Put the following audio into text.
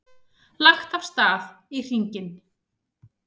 Lagt af stað hringinn